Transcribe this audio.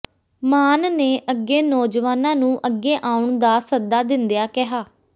ਮਾਨ ਨੇ ਅੱਗੇ ਨੌਜਵਾਨਾਂ ਨੂੰ ਅੱਗੇ ਆਉਣ ਦਾ ਸੱਦਾ ਦਿੰਦਿਆਂ ਕਿਹਾ